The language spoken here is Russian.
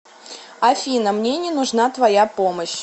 афина мне не нужна твоя помощь